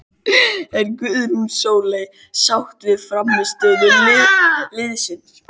Er Guðrún Sóley sátt við frammistöðu liðsins?